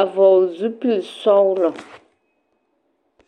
a vɔgle zupilisɔglɔ.